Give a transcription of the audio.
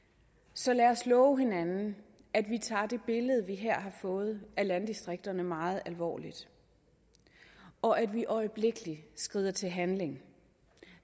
så lad os love hinanden at vi tager det billede vi her har fået af landdistrikterne meget alvorligt og at vi øjeblikkelig skrider til handling